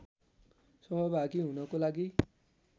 सहभागी हुनको लागि